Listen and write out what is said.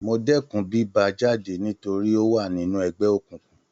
Mo dẹkùn bí bá a jáde torí ó wà nínú ẹgbẹ́ òkùnkùn.